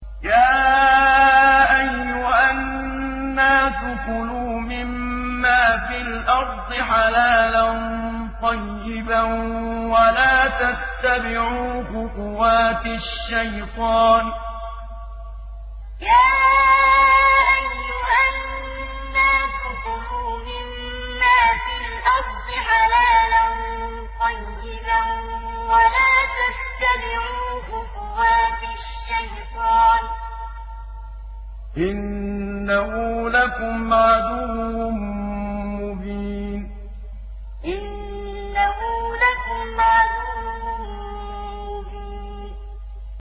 يَا أَيُّهَا النَّاسُ كُلُوا مِمَّا فِي الْأَرْضِ حَلَالًا طَيِّبًا وَلَا تَتَّبِعُوا خُطُوَاتِ الشَّيْطَانِ ۚ إِنَّهُ لَكُمْ عَدُوٌّ مُّبِينٌ يَا أَيُّهَا النَّاسُ كُلُوا مِمَّا فِي الْأَرْضِ حَلَالًا طَيِّبًا وَلَا تَتَّبِعُوا خُطُوَاتِ الشَّيْطَانِ ۚ إِنَّهُ لَكُمْ عَدُوٌّ مُّبِينٌ